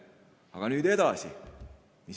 Aga nüüd edasi.